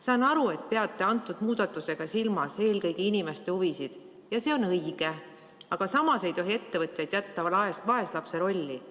Saan aru, et te peate selle muudatusega silmas eelkõige inimeste huvisid, ja see on õige, aga samas ei tohi ettevõtjaid jätta vaeslapse rolli.